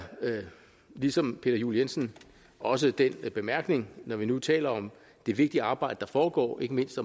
ligesom peter juel jensen også den bemærkning når vi nu taler om det vigtige arbejde der foregår ikke mindst